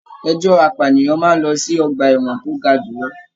Ẹjọ apànìyàn máa n lọ sí ọgbà ẹwọn to ga jùlọ.